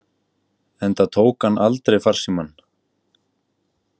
Enda tók hann aldrei farsímann.